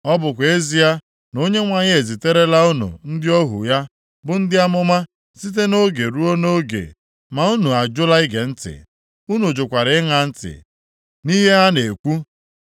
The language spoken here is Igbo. Ọ bụkwa ezie na Onyenwe anyị eziterela unu ndị ohu ya bụ ndị amụma site nʼoge ruo nʼoge ma unu ajụla ige ntị. Unu jụkwara ịṅa ntị nʼihe ha na-ekwu.